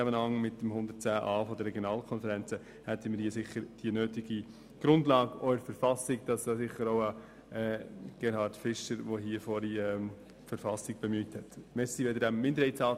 Im Zusammenhang mit Artikel 110 Buchstabe a betreffend die Regionalkonferenzen hätten wir sicher die nötige Grundlage, auch für die Verfassung, die Grossrat Fischer bereits angesprochen hat.